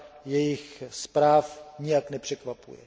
jejich zpráv nijak nepřekvapuje.